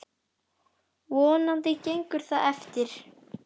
Vonandi gengur það eftir.